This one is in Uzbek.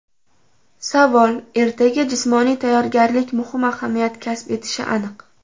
Savol: Ertaga jismoniy tayyorgarlik muhim ahamiyat kasb etishi aniq.